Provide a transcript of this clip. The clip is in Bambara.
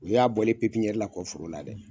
O y'a bɔlen pipiɲɛri la kɔ foro la dɛ.